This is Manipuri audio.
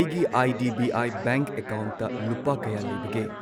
ꯑꯩꯒꯤ I D B I bank ꯑꯦꯀꯥꯎꯟꯠꯇ ꯂꯨꯄꯥ ꯀꯌꯥ ꯂꯩꯕꯒꯦ?